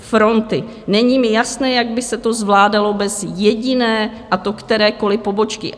Není mi jasné, jak by se to zvládalo bez jediné, a to kterékoli pobočky."